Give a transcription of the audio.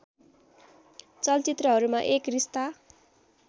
चलचित्रहरूमा एक रिस्ता